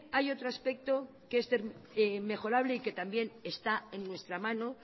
hay otro aspecto que es mejorable y que también está en nuestra mano